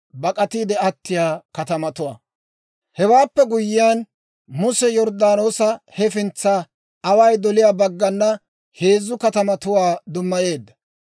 Hewaappe guyyiyaan, Muse Yorddaanoosa hefintsan away doliyaa baggana heezzu katamatuwaa dummayeedda.